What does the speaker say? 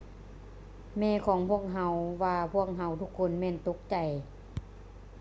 ແມ່ຂອງພວກເຮົາວ່າພວກເຮົາທຸກຄົນແມ່ນຕົກໃຈ